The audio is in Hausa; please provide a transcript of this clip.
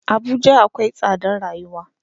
Abuja akwai tsadar rayuwa.